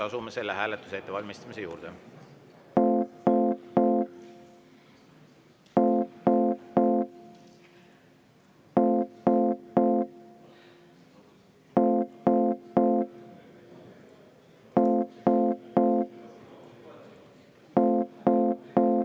Asume selle hääletuse ettevalmistamise juurde.